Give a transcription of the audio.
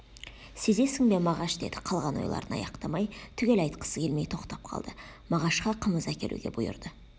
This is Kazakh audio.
сезесің бе мағаш деді қалған ойларын аяқтамай түгел айтқысы келмей тоқтап қалды мағашқа қымыз әкелуге бұйырды